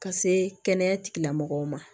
Ka se kɛnɛya tigilamɔgɔw ma